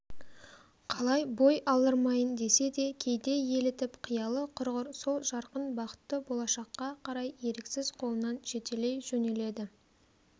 қалай бой алдырмайын десе де кейде елітіп қиялы құрғыр сол жарқын бақытты болашаққа қарай еріксіз қолынан жетелей жөнеледі